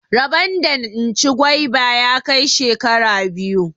Rabon da in ci gwaiba ya kai shekara biyu.